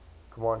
command shells